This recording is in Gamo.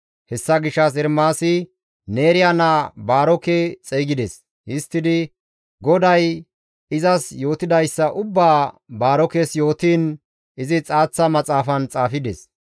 Hessa gishshas Ermaasi Neeriya naa Baaroke xeygides; histtidi GODAY izas yootidayssa ubbaa Baarokes yootiin izi xaaththa maxaafan xaafides.